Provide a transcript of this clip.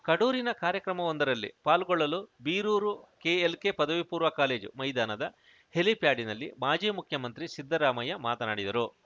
ಕಡೂರಿನ ಕಾರ್ಯಕ್ರಮವೊಂದರಲ್ಲಿ ಪಾಲ್ಗೊಳ್ಳಲು ಬೀರೂರು ಕೆಎಲ್‌ಕೆ ಪದವಿಪೂರ್ವ ಕಾಲೇಜು ಮೈದಾನದ ಹೆಲಿಪ್ಯಾಡಿನಲ್ಲಿ ಮಾಜಿ ಮುಖ್ಯಮಂತ್ರಿ ಸಿದ್ದರಾಮಯ್ಯ ಮಾತನಾಡಿದರು